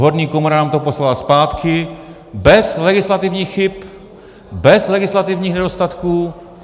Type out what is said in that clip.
Horní komora nám to poslala zpátky bez legislativních chyb, bez legislativních nedostatků.